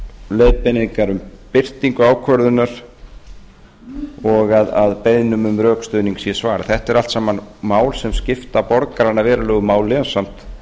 leiðbeiningar um birtingu ákvörðunar og að beiðnum um rökstuðning sé svarað þetta eru allt saman mál sem skipta borgarana verulegu máli ásamt